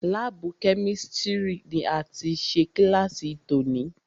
Lábùù Kẹ́místrì ni a ti ṣe kílàsì tòní.